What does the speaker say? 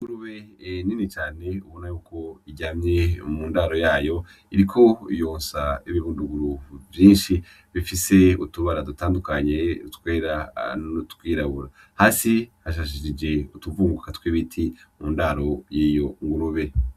Rube e neni cane ubona yuko iryamye mu ndaro yayo iriko yonsa ibibunduguru vyinshi bifise utubara dutandukanye twera notwirabura hasi hashashishije utuvuguka tw'ibiti mu ndaro yeyo ngurube.